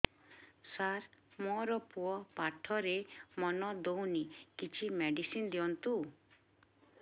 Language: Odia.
ସାର ମୋର ପୁଅ ପାଠରେ ମନ ଦଉନି କିଛି ମେଡିସିନ ଦିଅନ୍ତୁ